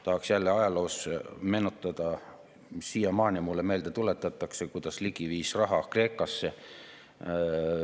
Tahaks jälle ajalugu meenutada: siiamaani tuletatakse mulle meelde, et Ligi viis raha Kreekasse.